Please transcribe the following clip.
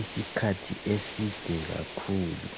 isikhathi eside kakhulu isikhathi eside kakhulu